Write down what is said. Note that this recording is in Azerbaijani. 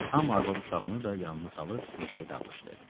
Hamı arvad-uşağını da yanına salıb meşəyə dağılışdı.